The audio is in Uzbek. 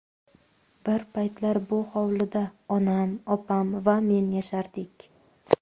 Bir paytlar bu hovlida onam, opam va men yashardik.